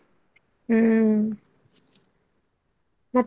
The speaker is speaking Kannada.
ಹ್ಮ್, ಮತ್ತೆ?